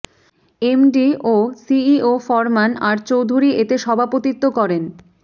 MD ও CEO Farman R Chowdhury এতে সভাপতিত্ব করেন